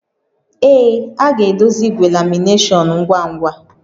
Ee, a ga-edozi igwe lamination ngwa ngwa